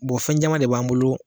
Bɔn fɛn caya de b'an bolo